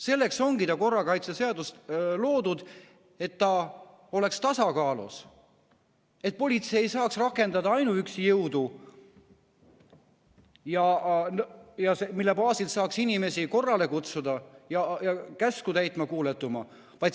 Selleks ongi korrakaitseseadus loodud, et ta oleks tasakaalus, et politsei ei saaks rakendada ainuüksi jõudu, et selle baasil ei saaks ainult inimesi korrale kutsuda ja käsku täitma, kuuletuma panna.